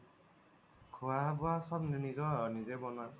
খুৱা বুৱা চ্ব নিজৰ, নিজে বনাও